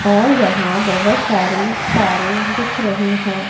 और यहां बहोत सारी तारे दिख रही है।